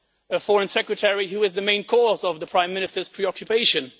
a Foreign Secretary who is the main cause of the Prime Minister's preoccupations